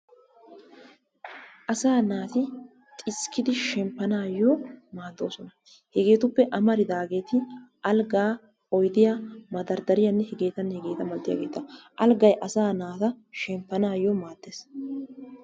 Asaa naati xiskkidi shemppanaayo maaddoosona. Hegeetuppe amaridaageeti algaa, oydiya, madarddariyaanne hegeetanne hegeeta malatiyageeta. Alggay asaa naata shemppanaayo maaddees.